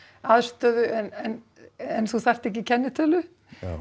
aðstöðu en en þú þarft ekki kennitölu